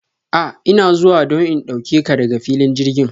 A ina zuwa don in dauke ka daga filin jirgin.